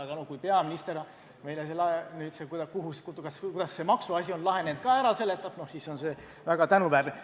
Aga kui peaminister selle, kuidas see maksuasi on lahenenud, ka ära seletab, siis on see väga tänuväärne.